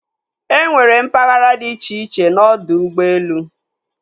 E nwere mpaghara di iche-iche n'ọdọ ụgbọelu.